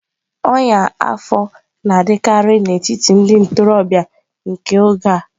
Ọnya afọ na-adịkarị n'etiti ndị ntorobịa nke oge a.